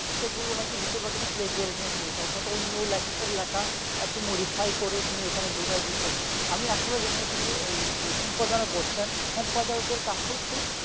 সেগুলো নাকি বেশির ভাগ pleasureism হয়ে গেছে অর্থাৎ অন্য লেখকের লেখা একটু modify করে এখানে ডুকাই দিয়েছেন আমি আসলে জানি না তিনি এই যে সম্প্রদান ও করছেন সাম্প্রদায়োকের কাজ হচ্ছে